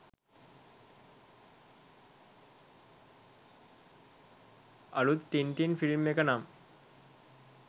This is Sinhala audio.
අලුත් ටින්ටින් ෆිල්ම් එක නම්